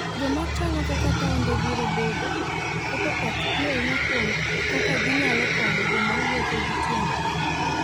Joma chano kaka taonde biro bedo, keto pachgi ahinya kuom kaka ginyalo konyo joma wuotho gi tiendgi.